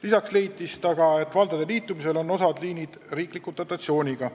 Lisaks leidis ta, et valdade liitumise tulemusena on osa liine riikliku dotatsiooniga.